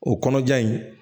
O kɔnɔja in